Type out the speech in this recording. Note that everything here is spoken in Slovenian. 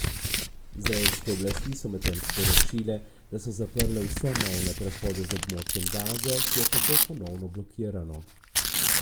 Izraelske oblasti so medtem sporočile, da so zaprle vse mejne prehode z območjem Gaze, ki je tako ponovno blokirano.